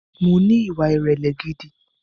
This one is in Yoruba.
Mo ní ìwà ìrẹ̀lẹ̀ gidi